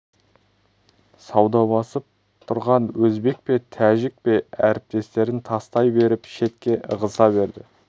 саудаласып тұрған өзбек пе тәжік пе әріптестерін тастай беріп шетке ығыса берді